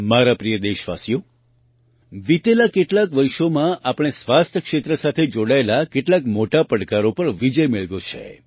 મારા પ્રિય દેશવાસીઓ વિતેલાં કેટલાંક વર્ષોમાં આપણે સ્વાસ્થ્ય ક્ષેત્ર સાથે જોડાયેલા કેટલાક મોટા પડકારો પર વિજય મેળવ્યો છે